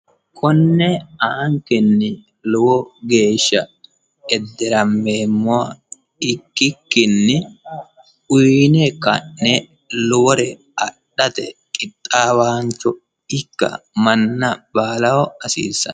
Kone la'ankenni lowo geeshsha ederameemmoha ikkikkinni uyine ka'ne lowore adhate qixaawa manna baallaho hasiisano.